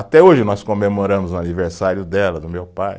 Até hoje nós comemoramos o aniversário dela, do meu pai.